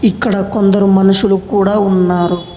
ఇక్కడ కొందరు మనుషులు కూడా ఉన్నారు.